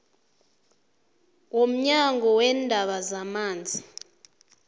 womnyango weendaba zamanzi